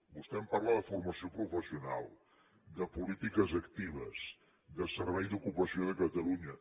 vostè em parla de formació professional de polítiques actives de servei d’ocupació de catalunya